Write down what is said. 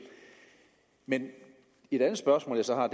men et andet spørgsmål jeg så har